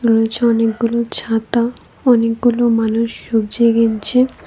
রয়েছে অনেকগুলো ছাতা অনেকগুলো মানুষ সবজি কিনছে।